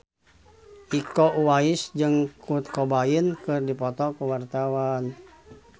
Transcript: Iko Uwais jeung Kurt Cobain keur dipoto ku wartawan